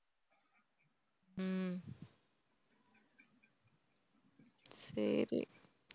சரி